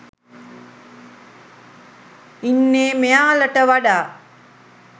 ඉන්නේ මෙයාලට වඩා